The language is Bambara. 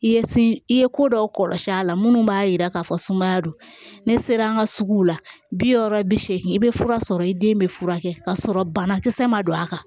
I ye i ye ko dɔw kɔlɔsi a la minnu b'a yira k'a fɔ sumaya don ne sera an ka sugu la bi wɔɔrɔ bi seegin i bɛ fura sɔrɔ i den bɛ furakɛ ka sɔrɔ banakisɛ ma don a kan